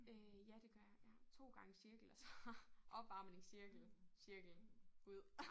Øh ja det gør jeg ja. 2 gange cirkel og så opvarmningscirkel cirkel ud